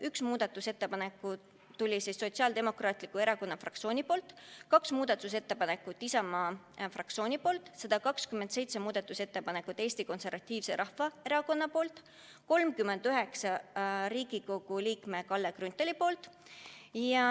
Üks muudatusettepanek tuli Sotsiaaldemokraatliku Erakonna fraktsioonilt, kaks muudatusettepanekut Isamaa fraktsioonilt, 127 muudatusettepanekut Eesti Konservatiivselt Rahvaerakonnalt, 39 Riigikogu liikmelt Kalle Grünthalilt.